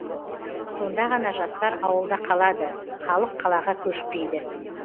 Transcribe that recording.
сонда ғана жастар ауылда қалады халық қалаға көшпейді